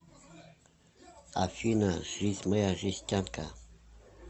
афина жизнь моя жестянка